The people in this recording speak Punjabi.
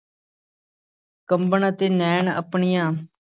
ਕੰਬਣ ਅਤੇ ਨੈਣ ਆਪਣੀਆਂ